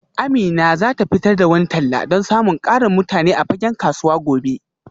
Amina za ta fitar da wani talla don samun ƙarin mutane a fagen kasuwa gobe